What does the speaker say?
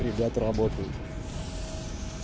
ребята работают